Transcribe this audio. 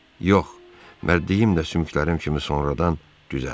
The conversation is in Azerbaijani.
Yox, mərdliyim də sümüklərim kimi sonradan düzəldi.